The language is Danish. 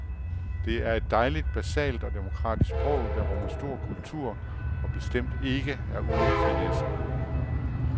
Det er et dejligt basalt og demokratisk sprog, der rummer stor kultur og bestemt ikke er uden finesser.